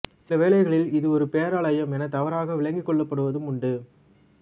சில வேளைகளில் இது ஒரு பேராலயம் எனத் தவறாக விளங்கிக் கொள்ளப்படுவதுமுண்டு